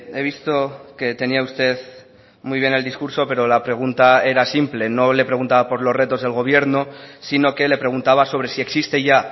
he visto que tenía usted muy bien el discurso pero la pregunta era simple no le preguntaba por los retos del gobierno sino que le preguntaba sobre si existe ya